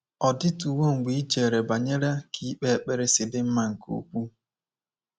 Ọ dịtuwo mgbe i chere banyere ka ikpe ekpere si dị mma nke ukwuu?